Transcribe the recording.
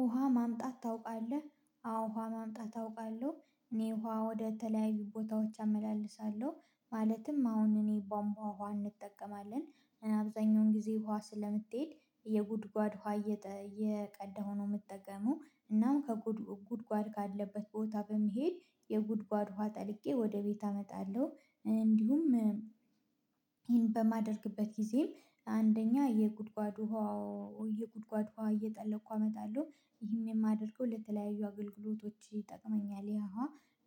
ውሃ ማምጣት ታውቃለህ አዎ ውሃ ማምጣት አውቃለሁ እኔ ውሃ ወደ ተለያዩ ቦታዎች አመላልሳለሁ። ማለትም አሁን እኔ ባምቧ ውሃ እንጠቀማለን። አብዛኛውን ጊዜ ውሃ ስለምትሄድ የጉድጓድ ውሃ እየቀዳሁ ነው የምጠቀመው እናም ጉድጓድ ካለበት ቦታ በመሄድ የጉድጓድ ውሃ ጠልቄ ወደ ቤት አመጣለሁ። እንዲሁም ይሄን በማደርግበት ጊዜም አንደኛ የጉድጓዱ ውሃው የጉድጓድ ውሃ እየጠለቅኩ አመጣለሁ ይህም የማደርገው ለተለያዩ አገልግሎቶች ይጠቅመኛል። ያ ውሃ